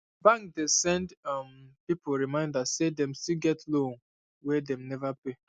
bank dey send um people reminder say dem still get loan wey dem never pay